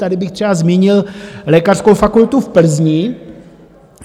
Tady bych třeba změnil lékařskou fakultu v Plzni.